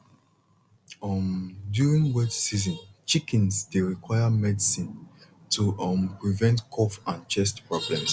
um during wet season chickens dey require medicine to um prevent cough and chest problems